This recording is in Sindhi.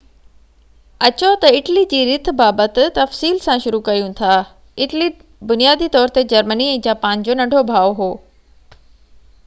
اچو تہ اٽلي جي رٿ بابت تفصيل سان شروع ڪريون ٿا اٽلي بنيادي طور تي جرمني ۽ جاپان جو ننڍو ڀاءُ هو